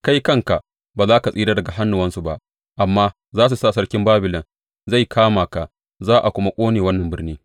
Kai kanka ba za ka tsira daga hannuwansu ba amma za su sa sarkin Babilon zai kama ka; za a kuma ƙone wannan birni.